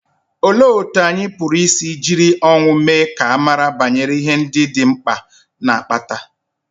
Olee otú anyị pụrụ isi jiri ọnwụ mee ka a mara banyere ihe ndị dị mkpa na-akpata?